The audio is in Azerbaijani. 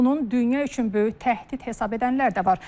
Bunun dünya üçün böyük təhdid hesab edənlər də var.